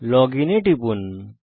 login এ টিপুন